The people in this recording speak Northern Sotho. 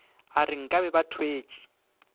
a re nkane ba thwetše